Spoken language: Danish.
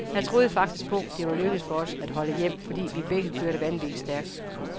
Jeg troede faktisk på, det var lykkedes for os at holde hjem, fordi vi begge kørte vanvittigt stærkt.